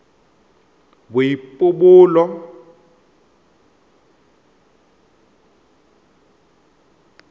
boipobolo